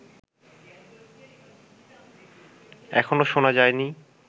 এখনও শোনা যায়নি